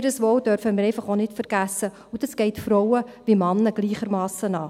Ihr Wohl dürfen wir nicht vergessen, und das geht Frauen und Männer gleichermassen etwas an.